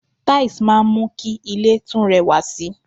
Tiles máa ń mú kí ilè tún rẹwà sì